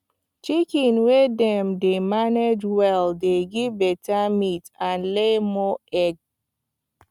chicken wey dem manage well dey give better meat and lay more egg